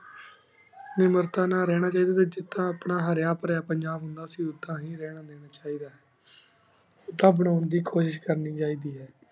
ਏਨਾ ਮੇਰਦਾਂ ਨਾਲ ਰਹਨਾ ਚਿੜਾ ਜਿਦਾਂ ਆਪਣਾ ਹੇਰਾ ਫਾਰਯ ਪੰਜਾਬ ਹੁੰਦਾ ਸੀ ਉੜਾਨ ਹੀ ਰਹਨਾ ਦੇਣਾ ਚੀ ਦਾ ਉੜਾਨ ਬਾਣੁ ਦੀ ਕੁਸ਼ਿਸ਼ ਕਰਨੀ ਸਹੀ ਦੀ ਆਯ